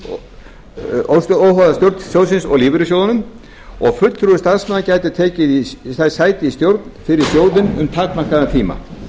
á faglegum grunni óháða stjórn sjóðsins og lífeyrissjóðum og fulltrúar starfsmanna gætu tekið sæti í stjórn fyrir sjóðinn um takmarkaðan tíma